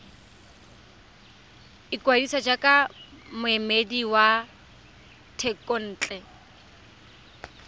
ikwadisa jaaka moemedi wa thekontle